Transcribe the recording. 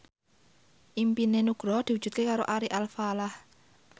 impine Nugroho diwujudke karo Ari Alfalah